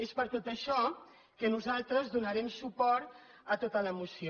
és per tot això que nosaltres donarem suport a tota la moció